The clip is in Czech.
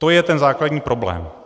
To je ten základní problém.